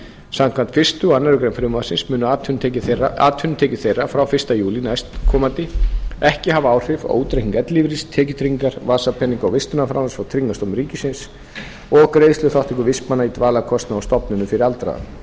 samkvæmt fyrstu og aðra grein frumvarpsins munu atvinnutekjur þeirra frá fyrsta júlí næstkomandi ekki hafa áhrif á útreikning ellilífeyris tekjutryggingar vasapeninga og vistunarframlags frá tryggingastofnun ríkisins og greiðsluþátttöku vistmanna í dvalarkostnaði á stofnunum fyrir aldraða